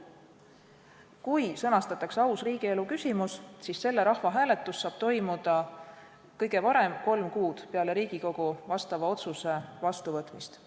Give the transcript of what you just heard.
Kui sõnastatakse aus riigielu küsimus, siis see rahvahääletus saab toimuda kõige varem kolm kuud peale Riigikogu vastava otsuse vastuvõtmist.